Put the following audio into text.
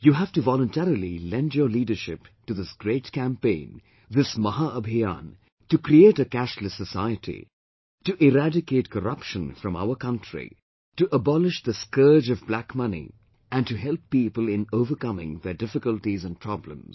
You have to voluntarily lend your leadership to this great campaign, this Maha Abhiyan, to create a 'cashless society', to eradicate corruption from our country, to abolish the scourge of black money and to help people in overcoming their difficulties and problems